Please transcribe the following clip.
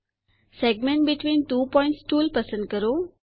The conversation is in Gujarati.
segment between two points tool પસંદ કરો